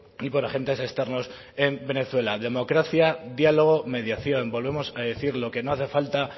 y por agentes externos en venezuela democracia diálogo mediación volvemos a decirlo que no hace falta